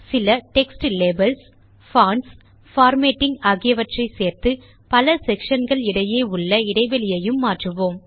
சில text labels fonts formatting ஆகியவற்றை சேர்த்து பல செக்ஷன் களிடையே உள்ள இடைவெளியையும் மாற்றுவோம்